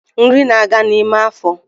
Nri na aga n’ime afo